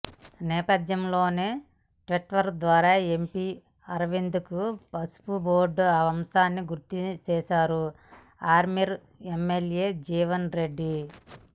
ఈ నేపథ్యంలోనే ట్విట్టర్ ద్వారా ఎంపీ అరవింద్కు పసుపుబోర్డు అంశాన్ని గుర్తుచేశారు ఆర్మూర్ ఎమ్మెల్యే జీవన్ రెడ్డి